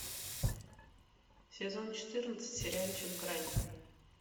сезон четырнадцать сериальчик грань